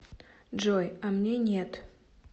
джой а мне нет